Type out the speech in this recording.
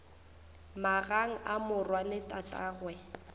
magang a morwa le tatagwe